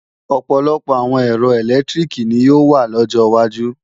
Ọ̀pọ̀lọpọ̀ àwọn ẹ̀rọ ẹ̀lẹ́tíríkì ni yóò wà lọ́jọ wájú